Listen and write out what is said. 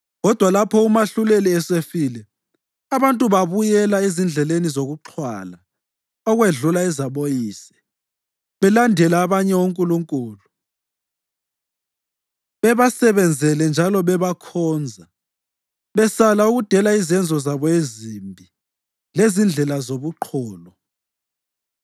Kodwa lapho umahluleli esefile, abantu babuyela ezindleleni zokuxhwala okwedlula ezaboyise, belandela abanye onkulunkulu, bebasebenzele njalo bebakhonza, besala ukudela izenzo zabo ezimbi lezindlela zobuqholo.